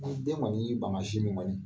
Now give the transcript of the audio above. Ko ni den kɔni y'i ban ka sin min kɔni